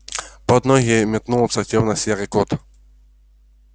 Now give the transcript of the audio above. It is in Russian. под ноги метнулся тёмно серый кот